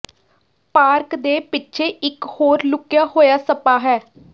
park ਦੇ ਪਿੱਛੇ ਇਕ ਹੋਰ ਲੁਕਿਆ ਹੋਇਆ ਸਪਾ ਹੈ